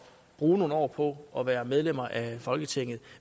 bruge nogle år på at være medlem af folketinget